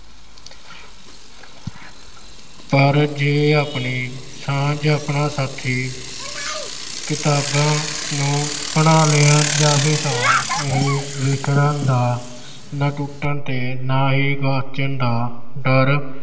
ਪੇ ਜੇ ਆਪਣੀ ਸਮਝ ਆਪਣਾ ਸਾਥੀ ਕਿਤਾਬਾਂ ਨੂੰ ਬਣਾ ਲਿਆ ਜਾਵੇ ਤਾਂ ਇਹ ਵਿਚਰਨ ਦਾ ਨਾ ਹੀ ਟੁੱਟਣ ਤੇ ਨਾ ਹੀ ਗੁਆਚਣ ਦਾ ਡਰ